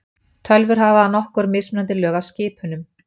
Tölvur hafa nokkur mismunandi lög af skipunum.